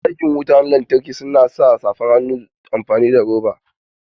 Masu aikin wutan lantarki su na sa safan hannu amfani da roba